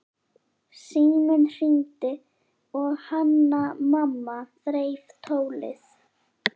Síminn hringdi og Hanna-Mamma þreif tólið.